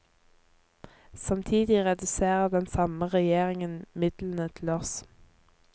Samtidig reduserer den samme regjeringen midlene til oss.